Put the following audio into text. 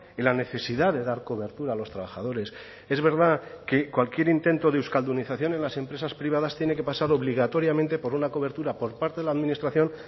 en la necesidad de dar cobertura a los trabajadores es verdad que cualquier intento de euskaldunización en las empresas privadas tiene que pasar obligatoriamente por una cobertura por parte de la administración